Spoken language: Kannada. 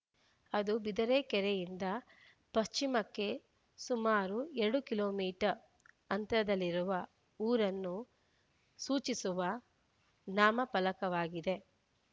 ಅದು ಬಿದರೆಕೆರೆಯಿಂದ ಪಶ್ಚಿಮಕ್ಕೆ ಸುಮಾರು ಎರಡು ಕಿಲೋ ಮೀಟರ್ ಅಂತರದಲ್ಲಿರುವ ಊರನ್ನು ಸೂಚಿಸುವ ನಾಮ ಫಲಕವಾಗಿದೆ